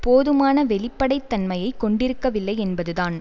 போதுமான வெளிப்படைத் தன்மையை கொண்டிருக்கவில்லை என்பதுதான்